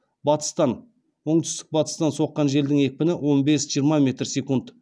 батыстан оңтүстік батыстан соққан желдің екпіні он бес жиырма метр секунд